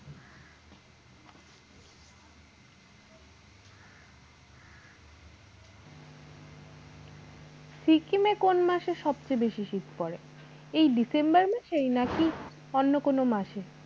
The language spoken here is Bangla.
সিকিমে এ কোন মাসে সবচে বেশি শীত পড়ে? এই december মাসেয় নাকি অন্য কোন মাসে?